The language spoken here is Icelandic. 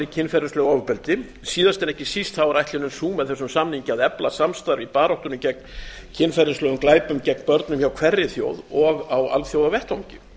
kynferðislegu ofbeldi síðast en ekki síst er ætlunin sú með þessum samningi að efla samstarf í baráttunni gegn kynferðislegum glæpum gegn börnum hjá hverri þjóð og á alþjóðavettvangi